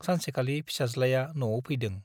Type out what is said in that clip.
सानसेखालि फिसाज्लाया न'आव फैदों ।